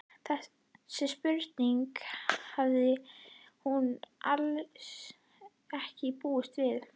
Þessari spurningu hafði hún alls ekki búist við.